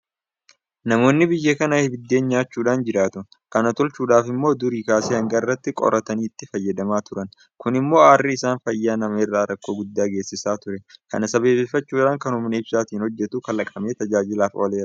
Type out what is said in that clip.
Namoonni biyya kanaa biddeen nyaachuudhaan jiraatu. Kana tolchuudhaaf immoo durii kaasee hanga har'aatti qoraanitti fayyadamaa turan. Kun immoo aarri isaa fayyaa namaa irraan rakkoo guddaa geessisaa ture. Kana sababeeffachuudhaan kana humna ibsaatiin hojjetu kalaqamee tajaajilaaf ooleera.